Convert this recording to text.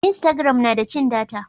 instagram na da cin data